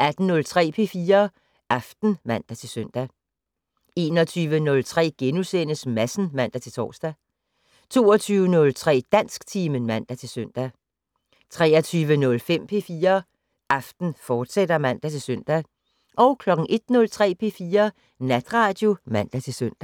18:03: P4 Aften (man-søn) 21:03: Madsen *(man-tor) 22:03: Dansktimen (man-søn) 23:05: P4 Aften, fortsat (man-søn) 01:03: P4 Natradio (man-søn)